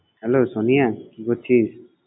Hello, Sonia কি করছিস?